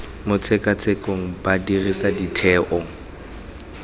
mo tshekatshekong ba dirisa ditheo